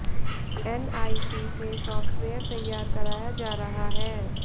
NIC से software तैयार कराया जा रहा है